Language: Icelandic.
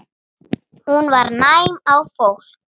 Hún var næm á fólk.